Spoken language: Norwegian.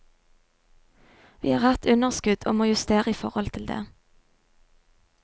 Vi har hatt underskudd og må justere i forhold til det.